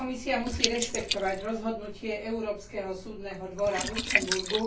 Komisia musí rešpektovať rozhodnutie Európskeho súdneho dvora v Luxemburgu.